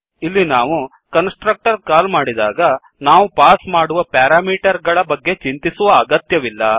ಇಲ್ಲಿ ನಾವು constructor call ಮಾಡಿದಾಗ ನಾವು ಪಾಸ್ ಮಾಡುವ ಪ್ಯಾರಾಮೀಟರ್ ಗಳ ಬಗ್ಗೆ ಚಿಂತಿಸುವ ಅಗತ್ಯವಿಲ್ಲ